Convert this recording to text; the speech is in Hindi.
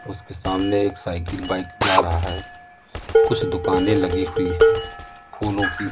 उसके सामने एक साईकल बाइक जा रहा है। कुछ दुकानें लगी हुई है फूलों की।